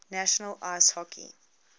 national ice hockey